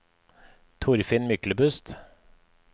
Torfinn Myklebust